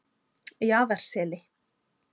Jaðarseli